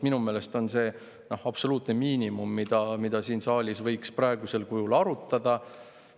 Minu meelest on see absoluutne miinimum, mida siin saalis võiks praegusel kujul arutada.